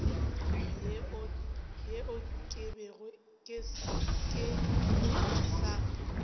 yeo ke bego ke sa